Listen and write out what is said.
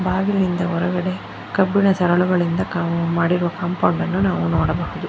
ಬಾಗಿಲಿನಿಂದ ಹೊರಗಡೆ ಕಬ್ಬಿಣ ಸರಳುಗಳಿಂದ ಮಾಡಿರುವ ಕಾಂಪೌಂಡ್ ಅನ್ನು ನಾವು ನೋಡಬಹುದು.